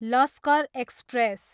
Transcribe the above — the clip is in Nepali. लस्कर एक्सप्रेस